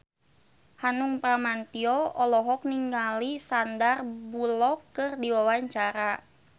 Hanung Bramantyo olohok ningali Sandar Bullock keur diwawancara